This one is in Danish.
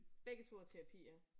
Begge 2 er terapi ja